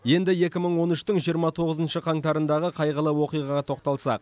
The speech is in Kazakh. енді екі мың он үштің жиырма тоғызыншы қаңтарындағы қайғылы оқиғаға тоқталсақ